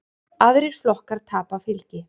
Aðrir flokkar tapa fylgi.